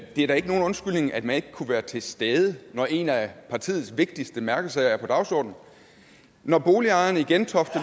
er da ikke nogen undskyldning at man ikke kunne være til stede når en af partiets vigtigste mærkesager er på dagsordenen når boligejerne i gentofte